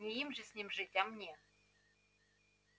не им же с ним жить а мне